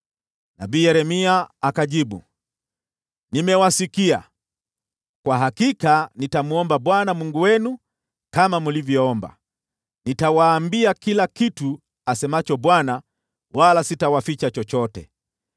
Nabii Yeremia akajibu, “Nimewasikia. Kwa hakika nitamwomba Bwana Mungu wenu kama mlivyoomba. Nitawaambia kila kitu asemacho Bwana , wala sitawaficha chochote.”